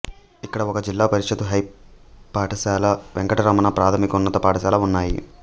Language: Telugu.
ఇక్కడ ఒక జిల్లాపరిషత్ హైపాఠశాల వెంకటరమణ ప్రాథమికోన్నత పాఠశాల ఉన్నాయి